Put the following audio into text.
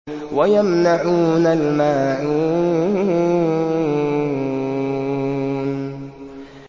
وَيَمْنَعُونَ الْمَاعُونَ